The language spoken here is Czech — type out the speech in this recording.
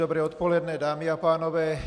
Dobré odpoledne, dámy a pánové.